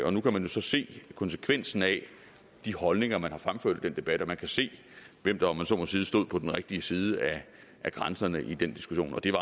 og nu kan man så se konsekvensen af de holdninger man har fremført i den debat og man kan se hvem der om man så må sige stod på den rigtige side af grænserne i den diskussion og det